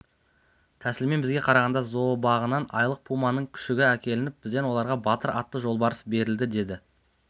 тәсілмен бізге қарағанды зообағынан айлық пуманың күшігі әкелініп бізден оларға батыр атты жолбарыс берілді деді